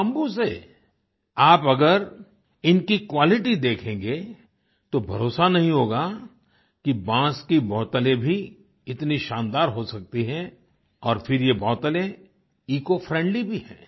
bamboo से आप अगर इनकी क्वालिटी देखेंगे तो भरोसा नहीं होगा कि बाँस की बोतलें भी इतनी शानदार हो सकती हैं और फिर ये बोतलें इकोफ्रेंडली भी हैं